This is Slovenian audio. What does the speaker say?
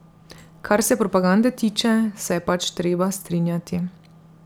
Kar se propagande tiče, se je pač treba strinjati.